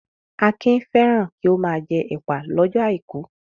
Akin fẹ́ràn kí ó máa jẹ ẹ̀pà lọ́jọ́ àìkú.